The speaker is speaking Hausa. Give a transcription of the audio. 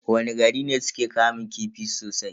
Wani gari ne suke kamun kifi sosai?